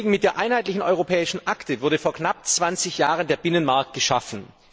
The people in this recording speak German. Mit der Einheitlichen Europäischen Akte wurde vor knapp zwanzig Jahren der Binnenmarkt geschaffen.